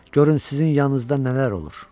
Görün sizin yanınızda nələr olur.